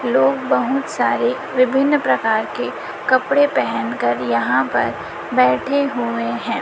लोग बहुत सारे विभिन्न प्रकार के कपड़े पहनकर यहां पर बैठे हुए हैं।